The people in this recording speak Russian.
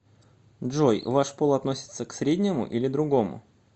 джой ваш пол относится к среднему или другому